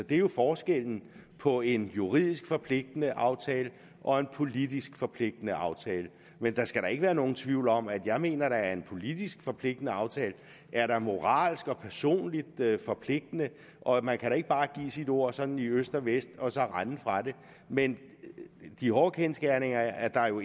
det er jo forskellen på en juridisk forpligtende aftale og en politisk forpligtende aftale men der skal da ikke være nogen tvivl om at jeg mener at en politisk forpligtende aftale er moralsk og personligt forpligtende og at man ikke bare kan give sit ord sådan i øst og vest og så rende fra det men de hårde kendsgerninger er at der jo